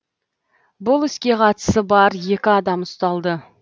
бұл іске қатысы бар екі адам ұсталды